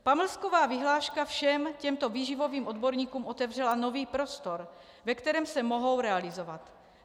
Pamlsková vyhláška všem těmto výživovým odborníkům otevřela nový prostor, ve kterém se mohou realizovat.